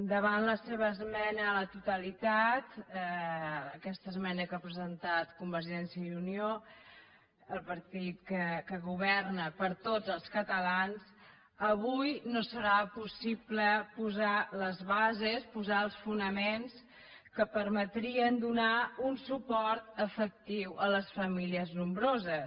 davant la seva esmena a la totalitat aquesta esmena que ha presentat convergència i unió el partit que governa per a tots els catalans avui no serà possible posar les bases posar els fonaments que permetrien donar un suport efectiu a les famílies nombroses